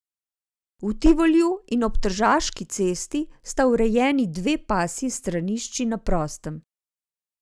V Tivoliju in ob Tržaški cesti pa sta urejeni dve pasji stranišči na prostem.